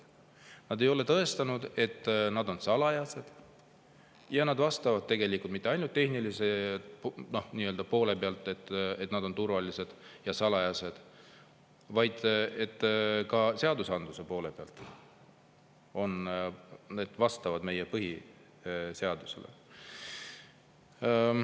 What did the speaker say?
Nad ei ole tõestanud, et valimised on salajased ja et need on mitte ainult tehnilises mõttes turvalised ja salajased, vaid vastavad ka seadusandluse poole pealt meie põhiseadusele.